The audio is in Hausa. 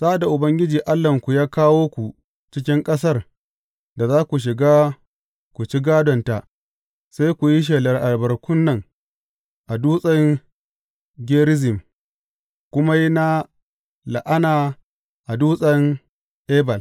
Sa’ad da Ubangiji Allahnku ya kawo ku cikin ƙasar da za ku shiga ku ci gādonta, sai ku yi shelar albarkun nan a dutsen Gerizim, ku kuma yi na la’ana a dutsen Ebal.